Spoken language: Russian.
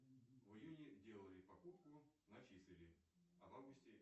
в июне делале покупку начислили а в августе